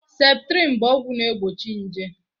Septrin bụ ọgwụ na egbochi nje